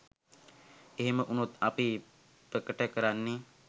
එහෙම වුණොත් අපි ප්‍රකට කරන්නෙ